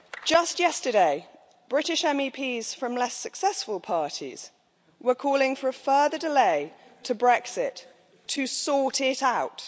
Just yesterday, British MEPs from less successful parties were calling for a further delay to Brexit to sort it out'.